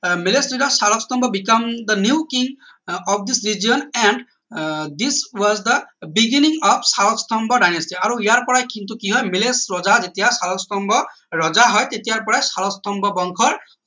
Salastambha become the new king of and ah this was the beginning of Salastambha dynasty আৰু ইয়াৰ পৰাই কিন্তু কি হয় ৰজা যেতিয়া শালস্তম্ভ ৰজা হয় তেতিয়া পৰাই শালস্তম্ভ বংশৰ